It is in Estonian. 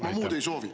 Ma muud ei soovi.